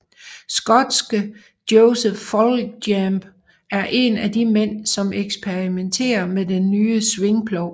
Skotske Joseph Foljambe er en af de mænd som eksperimentere med den nye svingplov